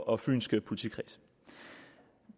og fynske politikredse